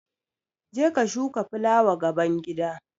Je ka shuka fulawa gaban gida!